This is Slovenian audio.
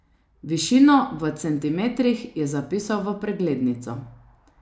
Višino v centimetrih je zapisal v preglednico.